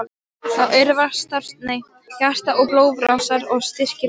Það örvar starfsemi hjarta og blóðrásar og styrkir vöðva.